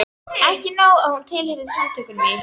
Ekki nóg með að hún tilheyrði Samtökunum í